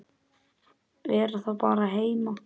Vera þá bara heima?